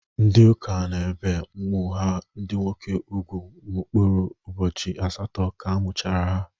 Ndi ụka ne ebe umu ha ndi nwoke ùgwú mkupụrụ ubochi asaatọ ka amuchara ha.